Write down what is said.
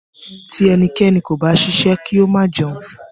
Ti ẹnikẹ́ni kò bá ṣiṣẹ́, ki o ma jẹun.